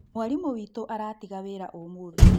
Mwarimũ witũ aratiga wĩra ũmũthĩ